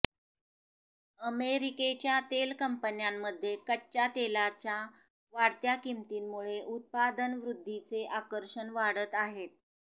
अमेरिकेच्या तेल कंपन्यांमध्ये कच्च्या तेलाच्या वाढत्या किमतींमुळे उत्पादनवृद्धीचे आकर्षण वाढत आहेत